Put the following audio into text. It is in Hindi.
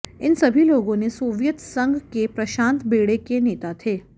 इन सभी लोगों ने सोवियत संघ के प्रशांत बेड़े के नेता थे